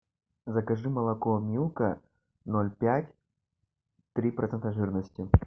закажи молоко милка ноль пять три процента жирности